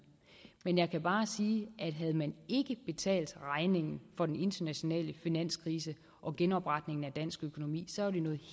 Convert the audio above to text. men jeg kan bare sige at havde man ikke betalt regningen for den internationale finanskrise og genopretningen af dansk økonomi så ville det